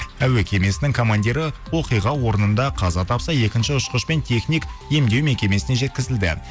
әуе кемесінің командирі оқиға орнында қаза тапса екінші ұшқыш пен техник емдеу мекемесіне жеткізілді